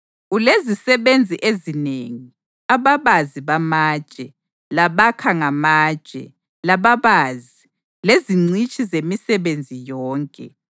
Ulezisebenzi ezinengi, ababazi bamatshe, labakha ngamatshe, lababazi, lezingcitshi zemisebenzi yonke,